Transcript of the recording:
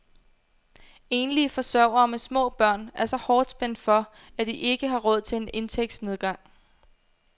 Enlige forsørgere med små børn er så hårdt spændt for, at de ikke har råd til en indtægtsnedgang.